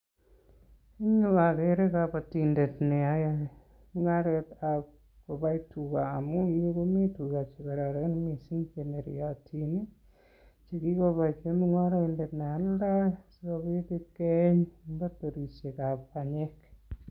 Eng' yuu agere kabatindet neoe mung'aretab kobai tugaa, amuu en yuu komii tuga che kororon missing che neriotion che kikoito mung'araindet nealdoi sikobiit ipkeeny eng' faktorishekab panyek